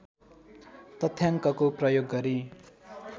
तथ्याङ्कको प्रयोग गरी